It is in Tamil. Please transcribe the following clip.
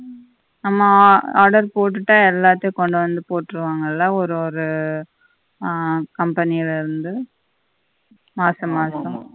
ஆமா order போட்டுட்டா எல்லாத்தையும் கொண்டுவந்து போட்ருவாங்கல்ல ஒரு ஒரு ஆஹ் company ல இருந்து மாசம் மாசம்